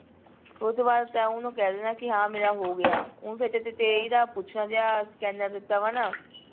ਫੇਰ ਉਸਤੋਂ ਬਾਅਦ ਤੈਂ ਓਹਨੂੰ ਕਹਿ ਦੇਣਾ ਕਿ ਹਾਂ ਮੇਰਾ ਹੋ ਗਿਆ ਤੇਈ ਦਾ ਪੁੱਛਣ ਦੀਆ scanner ਦਿੱਤਾ ਵਾ ਨਾ